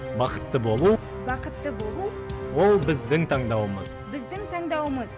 бақытты болу бақытты болу ол біздің таңдауымыз біздің таңдауымыз